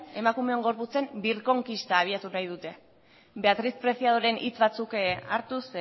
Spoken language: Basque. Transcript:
emakumeon gorputzen birkonkista abiatu nahi dute beatriz preciadoren hitz batzuk hartuz